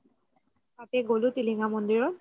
আমি গ'লো টিলিঙা মন্দিৰত